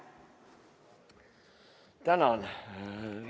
Tänan!